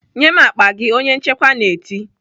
"Nye m akpa gị!" onye nchekwa na-eti.